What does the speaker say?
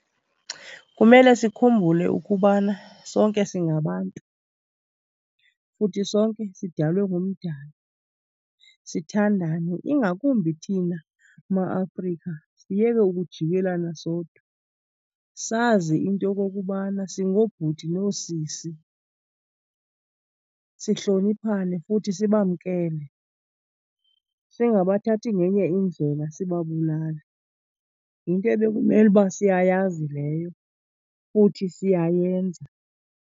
Kumele sikhumbule ukubana sonke singabantu futhi sonke sidalwe nguMdali sithandane ingakumbi thina ma-Afrika siyeke ukujikelana sodwa sazi into yokokubana singoobhuti noosisi. Sihloniphane futhi sibamkele, singabathathi ngenye indlela sibabulale. Yinto ebekumele uba siyayazi leyo futhi siyayenza.